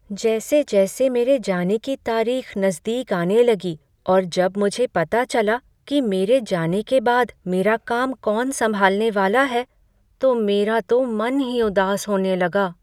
जैसे जैसे मेरे जाने की तारीख नज़दीक आने लगी और जब मुझे पता चला कि मेरे जाने के बाद मेरा काम कौन संभालने वाला है, तो मेरा तो मन ही उदास होने लगा।